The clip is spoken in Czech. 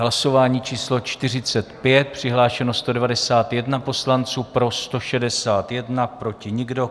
Hlasování číslo 45, přihlášeno 191 poslanců, pro 161, proti nikdo.